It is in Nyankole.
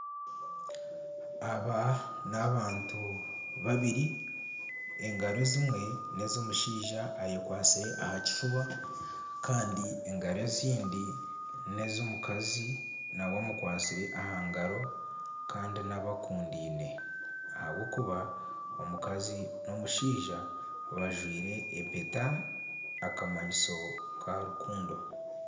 Aba n'abantu babiri, engaro ezimwe n'ez'omushaija ayekwatsire aha kifuba kandi engaro ezindi n'ez'omukazi nawe amukwatsire aha ngaro kandi n'abakundaine ahabw'okuba omukazi n'omushaija bajwire empeta akamanyiso ka rukundo